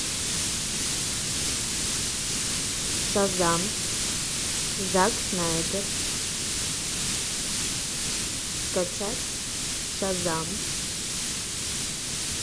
шазам зак снайдер скачать шазам